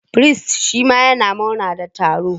Firist shima yana murna da taro.